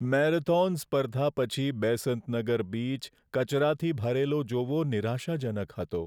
Marathon સ્પર્ધા પછી Besant Nagar beach કચરાથી ભરેલો જોવો નિરાશાજનક હતો.